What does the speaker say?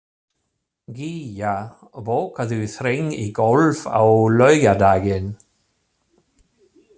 Gía, bókaðu hring í golf á laugardaginn.